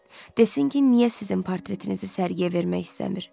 Desin ki, niyə sizin portretinizi sərgiyə vermək istəmir?